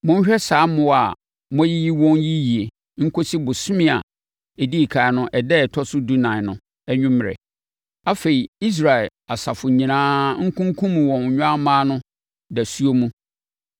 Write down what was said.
Monhwɛ saa mmoa a moayiyi wɔn yi yie nkɔsi ɔbosome a ɛdii ɛkan no ɛda a ɛtɔ so dunan no anwummerɛ. Afei Israel asafo nyinaa nkunkum wɔn nnwammaa no dasuo mu.